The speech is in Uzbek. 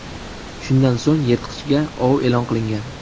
Shundan so‘ng yirtqichga ov e’lon qilingan.